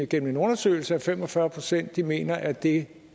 gennem en undersøgelse at fem og fyrre procent mener at det